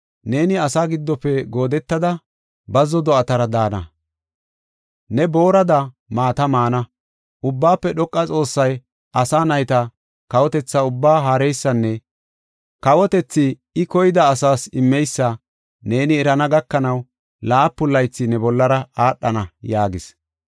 Neeni asa giddofe goodetada, bazzo do7atara daana; ne boorada maata maana. Ubbaafe Dhoqa Xoossay asa nayta kawotetha ubbaa haareysanne I ba koyaida asas kawotethi immeysa neeni erana gakanaw laapun laythi ne bollara aadhana” yaagis.